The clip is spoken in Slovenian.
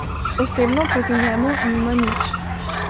Osebno proti njemu nima nič.